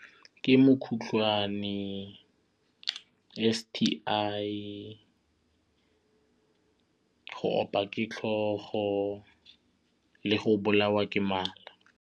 Ke mokhutlhwane, S_T_I, go opiwa ke tlhogo le go bolawa ke mala.